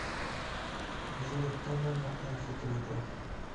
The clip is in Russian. джой кто мама амфитрита